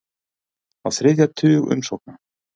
Á þriðja tug umsókna